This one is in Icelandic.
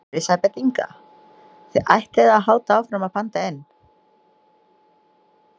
Elísabet Inga: Þið ætlið að halda áfram að panta inn?